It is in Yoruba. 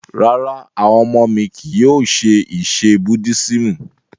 Rárá, awọn ọmọ mi kii yóò ṣe ẹsẹ̀ Búddisimù.